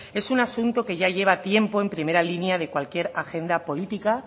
es un asunto que ya lleva tiempo en primera línea de cualquier agenda política